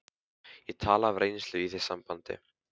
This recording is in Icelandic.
Ég tala af reynslu í því sambandi.